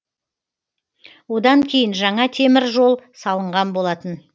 одан кейін жаңа темір жол салынған болатын